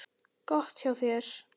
Gott hjá þér.